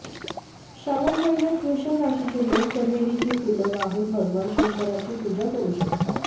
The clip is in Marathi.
श्रावण महिन्यात वृषभ राशीचे लोक चमेलीची फुलं वाहून भगवान शंकराची पूजा करू शकतात